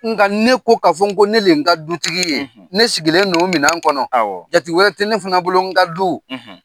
Nga ne ko k'a fɔ n ko ne le n ka dutigi ye, ,ne sigilen don o minɛn kɔnɔ. Awɔ. jate wɛrɛ tɛ ne fana bolo, n ka du.